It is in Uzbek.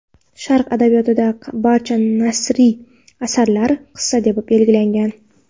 Sharq adabiyotida barcha nasriy asarlar "qissa" deb belgilangan.